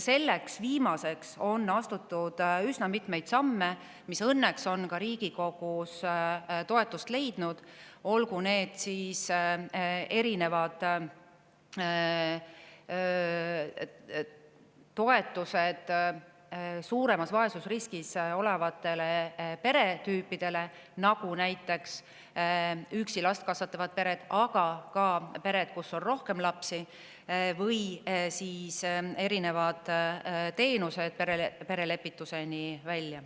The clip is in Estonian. Selleks viimaseks on astutud üsna mitmeid samme, mis õnneks on ka Riigikogus toetust leidnud, olgu need erinevad toetused suurema vaesusriskiga peretüüpidele, nagu näiteks last üksi kasvatavate vanemate pered, aga ka pered, kus on rohkem lapsi, või siis erinevad teenused perelepituseni välja.